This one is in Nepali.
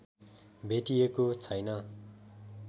भेटिएको छैन